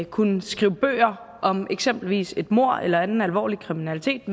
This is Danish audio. kunne skrive bøger om eksempelvis et mord eller anden alvorlig kriminalitet